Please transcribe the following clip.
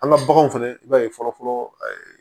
An ka baganw fɛnɛ i b'a ye fɔlɔ fɔlɔ